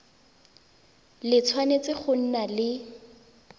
le tshwanetse go nna le